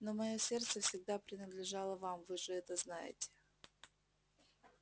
но моё сердце всегда принадлежало вам вы же это знаете